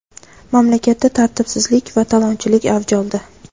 mamlakatda tartibsizlik va talonchilik avj oldi.